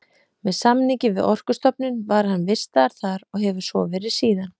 Með samningi við Orkustofnun var hann vistaður þar, og hefur svo verið síðan.